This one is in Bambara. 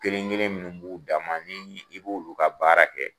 Kelen kelen munnu b'u dan ma ,ni i b'olu ka baara kɛ